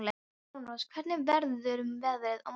Hjálmrós, hvernig verður veðrið á morgun?